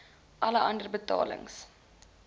alle ander betalings